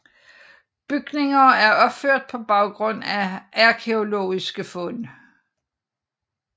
Bygninger er opført på baggrund af arkæologisk fund